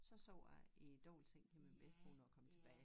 Så sov jeg i æ dobbeltseng med min bedstemor når jeg kom tilbage